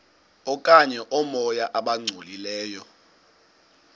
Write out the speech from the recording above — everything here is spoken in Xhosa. okanye oomoya abangcolileyo